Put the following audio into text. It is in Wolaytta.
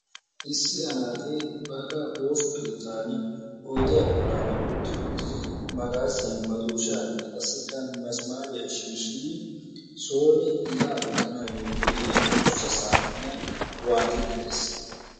Issi anaaxee baagaa ooso keettani oydiya bollan utti uttiri magaaziya, madooshaanne qassikka misimaariya shiishshidi sooni iqaa wottanaassi go'iya adussa saaxiniya waaxiiddi de'ees.